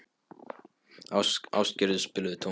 Ástgerður, spilaðu tónlist.